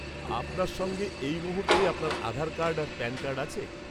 -আপনার সঙ্গে এই মুহূর্তে আপনার আধার কার্ড আর প্যান কার্ড আছে?